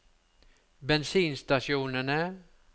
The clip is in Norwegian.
bensinstasjonene